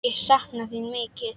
Ég sakna þín mikið.